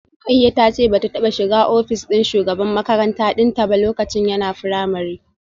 Rukayyah tace bata taba shiga office din shugaban makaranta dinta ba lokacin yana primary